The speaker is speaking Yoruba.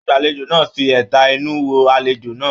Agbalejo náà fí ẹtà inú wo alejo náà.